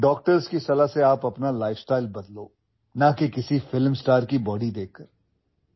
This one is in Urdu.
آپ کو اپنے طرز زندگی کو ڈاکٹروں کے مشورے سے بدلنا چاہیے نہ کہ کسی فلم اسٹار کا جسم دیکھ کر